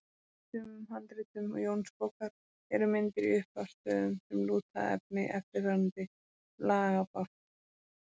Í sumum handritum Jónsbókar eru myndir í upphafs stöfum sem lúta að efni eftirfarandi lagabálks.